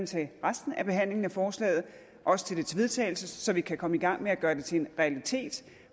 til resten af behandlingen af forslaget og også til dets vedtagelse så vi kan komme i gang med at gøre det til en realitet